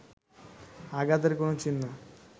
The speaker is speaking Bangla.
আঘাতের কোন চিহ্ন